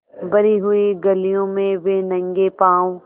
भरी हुई गलियों में वे नंगे पॉँव स्